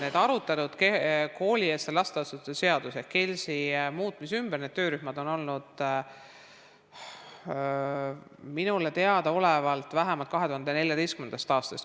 Need arutelud koolieelse lasteasutuse seaduse ehk KELS-i muutmise ümber nendes töörühmades on minule teadaolevalt olnud vähemalt 2014. aastast.